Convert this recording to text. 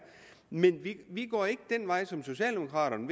men vi går ikke den vej som socialdemokraterne